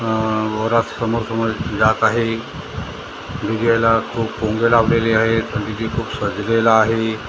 अ घरा समोर-समोर जात आहे डी_जे ला खूप भोंगे लावलेले आहेत आणि डी_जे खूप सजलेला आहे.